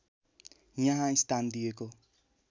यहाँ स्थान दिएको